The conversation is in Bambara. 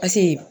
Paseke